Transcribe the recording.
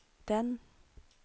den